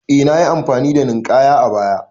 Eh nayi amfani da Ninkaya a baya